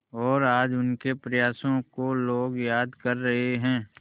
और आज उनके प्रयासों को लोग याद कर रहे हैं